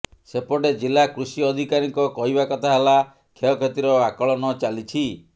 ସେପଟେ ଜିଲ୍ଳା କୃଷି ଅଧିକାରୀଙ୍କ କହିବା କଥା ହେଲା କ୍ଷୟକ୍ଷତିର ଆକଳନ ଚାଲିଛି